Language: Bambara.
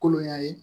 Kolonya ye